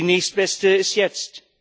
die nächstbeste ist jetzt.